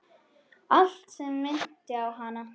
Allt sem minnti á hana.